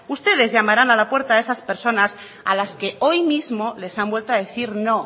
ustedes llamarán a la puerta de esas personas a las que hoy mismo les han vuelto a decir no